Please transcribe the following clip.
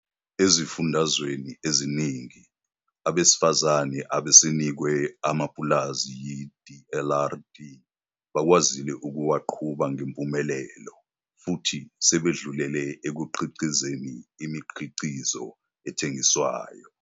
Ezifundazweni eziningi, abesifazane asebenikwe amapulazi yi-DLRD bakwazile ukuwaqhuba ngempumelelo futhi sebedlulele ekukhiqizeni imikhiqizo ethengiswayo.